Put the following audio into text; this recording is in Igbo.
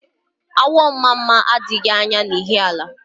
Awọ Mmamma adịghị anya na Ihiala